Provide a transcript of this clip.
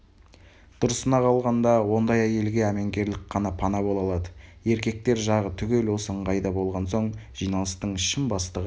дұрысына қалғанда ондай әйелге әменгерлік қана пана бола алады еркектер жағы түгел осы ыңғайда болған соң жиналыстың шын бастығы